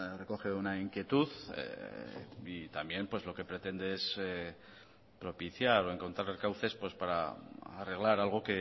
recoge una inquietud y también pues lo que pretende es propiciar o encontrar cauces para arreglar algo